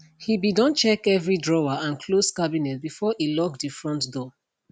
he be don check every drawer and closed cabinet before e lock de front door